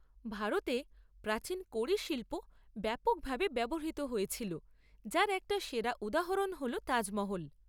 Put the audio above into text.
ভারতে প্রাচীন কড়ি শিল্প ব্যাপকভাবে ব্যবহৃত হয়েছিল যার একটা সেরা উদাহরণ হল তাজমহল।